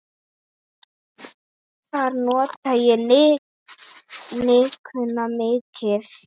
Þar nota ég nikkuna mikið.